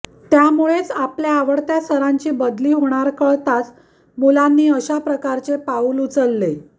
त्यामुळेच आपल्या आवडत्या सरांची बदली होणार कळताच मुलांनी अशाप्रकारचे पाऊव उचलले